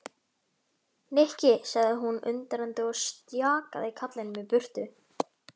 Nikki sagði hún undrandi og stjakaði karlinum í burtu.